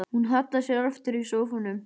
Hún hallar sér aftur í sófanum.